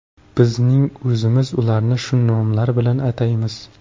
Bizning o‘zimiz ularni shu nomlar bilan ataymiz.